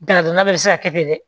Daladonna bɛɛ bɛ se ka kɛ dɛ